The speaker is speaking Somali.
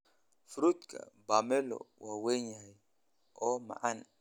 Fruutka pomelo waa weyn yahay oo macaan.